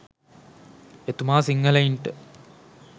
එතුමා සිංහලයින්ට